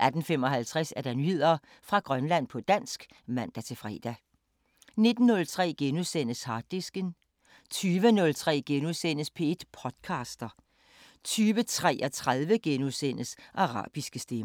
18:55: Nyheder fra Grønland på dansk (man-fre) 19:03: Harddisken * 20:03: P1 podcaster * 20:33: Arabiske Stemmer *